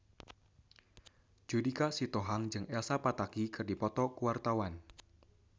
Judika Sitohang jeung Elsa Pataky keur dipoto ku wartawan